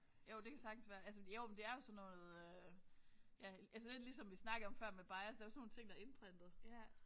Jo det kan sagtens være. Altså jo men det er jo sådan noget ja altså lidt ligesom vi snakkede om før med bias det er jo sådan nogle ting der er indprintet